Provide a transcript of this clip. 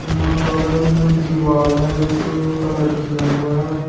यहां बगल में दीवाल है जो कलर किया हुआ है।